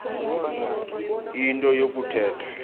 into yoku thetha